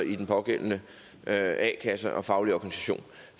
i den pågældende a kasse og faglige organisation